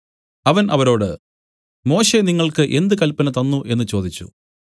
അവൻ അവരോട് മോശെ നിങ്ങൾക്ക് എന്ത് കല്പന തന്നു എന്നു ചോദിച്ചു